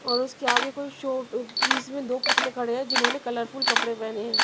और उसके आगे कोई शो पीस में दो पुतले खड़े हैं जिन्होंने कलरफुल कपड़े पहने हैं।